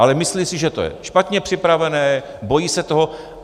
Ale myslí si, že to je špatně připravené, bojí se toho.